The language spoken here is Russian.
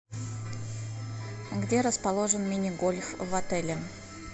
где расположен мини гольф в отеле